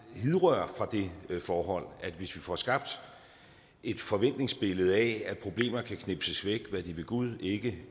hidrører fra det forhold at hvis vi får skabt et forventningsbillede af at problemer kan knipses væk hvad de ved gud ikke